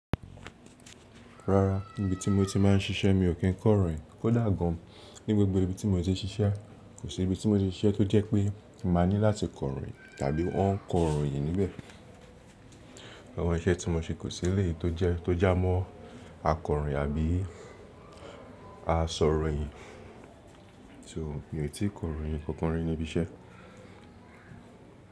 Rárá níbi tí mo ti máa ń ṣiṣẹ́ mi ò kí ń kọ̀ròyìn kò dà gan. Ní gbogbo ibi tí mo ti ṣiṣẹ́, kò sí ibi tí mo ti ṣe tó jẹ́ pé màá ní láti kọ̀ròyìn tàbí wọ́n ń kọ̀ròyìn níbẹ̀. Ọ̀nà iṣẹ́ tí mo ṣe kò sí ilé tó jẹ́ tó já mọ́ akọ̀ròyìn àbí asọ̀ròyìn. So mi ò tí ì kọ̀ròyìn kankan rí níbi iṣẹ́.